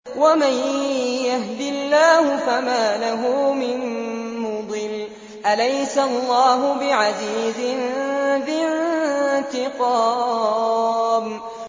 وَمَن يَهْدِ اللَّهُ فَمَا لَهُ مِن مُّضِلٍّ ۗ أَلَيْسَ اللَّهُ بِعَزِيزٍ ذِي انتِقَامٍ